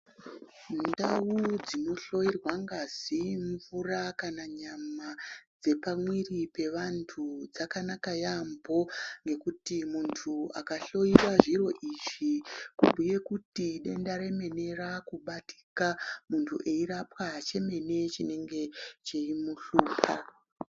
Ndau dzinohloyirwa ngazi, mvura kana nyama dzepamwiiri pevantu dzakanaka yaambo ngekuti muntu akahloyiwe zviro izvi kubhuye kuti denda remene raakubatika. Muntu eirapwa chemene chinenge cheimuhlupa.